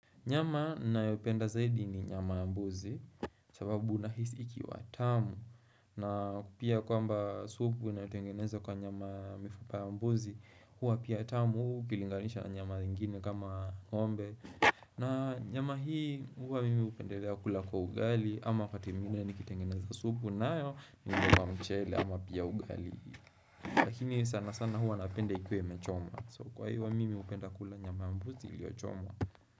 Nyama ninayoupenda zaidi ni nyama ya mbuzi sababu unahisi ikiwa tamu na pia kwamba supu inayotengenezwa kwa nyama mifupa ya mbuzi hua pia tamu ukilinganisha na nyama ingine kama ng'ombe na nyama hii hua mimi hupendelea kula kwa ugali ama wakati mwingine nikitengeneza supu nayo ni nyama mchele ama pia ugali Lakini sana sana hua napenda ikuwe imechomwa so kwa hivo wa mimi hupenda kula nyama ya mbuzi ilioyochomwa.